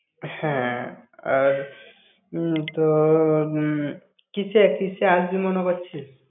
হ্যাঁ, আর উম তো উম কিসে কিসে আসবি মনে করছিস?